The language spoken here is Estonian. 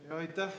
Aitäh!